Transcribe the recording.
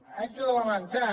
haig de lamentar